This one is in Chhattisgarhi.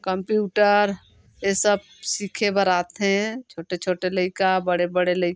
कंप्यूटर ये सब सीखे बर आथे छोटे-छोटे लइका बड़े-बड़े लइ--